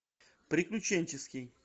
приключенческий